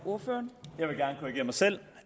ordføreren